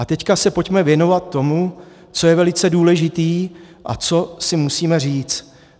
A teď se pojďme věnovat tomu, co je velice důležité a co si musíme říct.